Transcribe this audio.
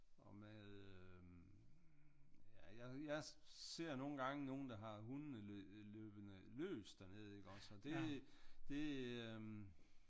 Og med øh ja jeg ser nogle gange nogen der har hundene løbende løs dernede iggås og det øh